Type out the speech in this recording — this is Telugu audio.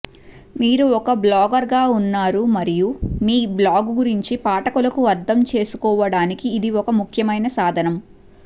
మీరు ఒక బ్లాగర్గా ఉన్నారు మరియు మీ బ్లాగు గురించి పాఠకులకు అర్థం చేసుకోవడానికి ఇది ఒక ముఖ్యమైన సాధనం